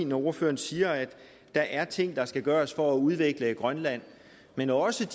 når ordføreren siger at der er ting der skal gøres for at udvikle grønland men også